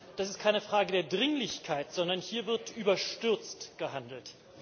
Das ist keine Frage der Dringlichkeit, sondern hier wird überstürzt gehandelt.